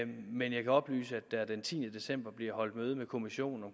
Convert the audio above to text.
men jeg kan oplyse at der den tiende december bliver holdt møde med kommissionen